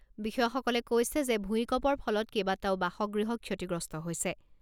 বিষয়াসকলে কৈছে যে ভূঁইকপৰ ফলত কেবাটাও বাসগৃহ ক্ষতিগ্ৰস্ত হৈছে।